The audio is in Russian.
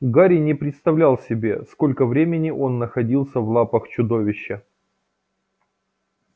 гарри не представлял себе сколько времени он находился в лапах чудовища